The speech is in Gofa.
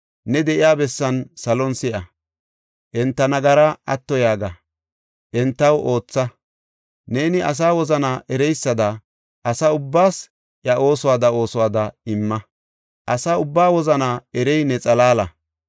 ne de7iya bessan salon si7a. Enta nagaraa atto yaaga; entaw ootha. Neeni asa wozana ereysada asa ubbaas iya oosuwada oosuwada imma. Asa ubbaa wozanaa erey ne xalaala.